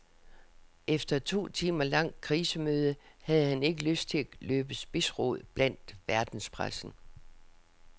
Efter et to timer langt krisemøde havde han ikke lyst til at løbe spidsrod blandt verdenspressen.